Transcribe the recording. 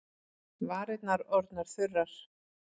Varirnar orðnar þurrar.